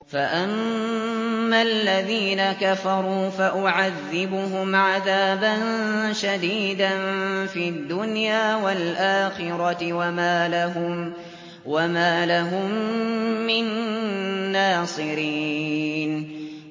فَأَمَّا الَّذِينَ كَفَرُوا فَأُعَذِّبُهُمْ عَذَابًا شَدِيدًا فِي الدُّنْيَا وَالْآخِرَةِ وَمَا لَهُم مِّن نَّاصِرِينَ